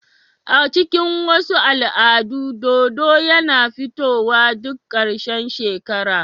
A cikin wasu al'adu, dodo yana fitowa duk ƙarshen shekara.